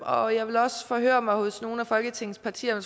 og jeg vil også forhøre mig hos nogle af folketingets partier om